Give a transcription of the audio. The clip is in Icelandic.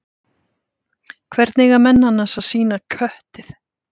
Hvernig eiga menn annars að sýna köttið?